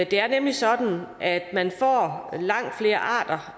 det er nemlig sådan at man får langt flere arter